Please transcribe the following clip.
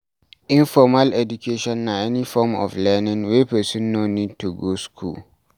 Informal education na any form of learning wey person no need to go school